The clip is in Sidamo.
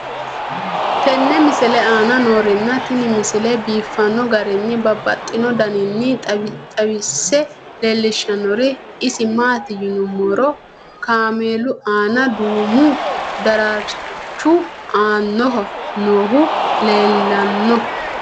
tenne misile aana noorina tini misile biiffanno garinni babaxxinno daniinni xawisse leelishanori isi maati yinummoro kaammelu aanna duummu daraarichu aannaho noohu leelanno